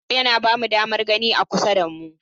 Ido yana ba mu damar gani a kusa da mu.